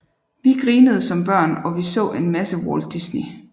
Vi grinede som børn og vi så en masse Walt Disney